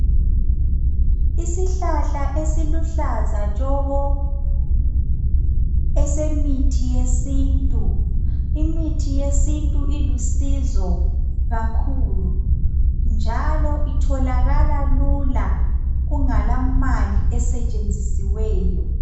Isihlahla esiluhlaza tshoko esemithi yesintu imithi yesintu ilusizo kakhulu njalo itholakala lula kungela mali esetshenzisiweyo.